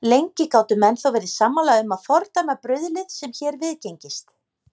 Lengi gátu menn þó verið sammála um að fordæma bruðlið, sem hér viðgengist.